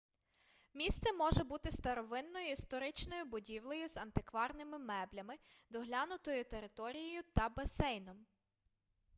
місце може бути старовинною історичною будівлею з антикварними меблями доглянутою територією та басейном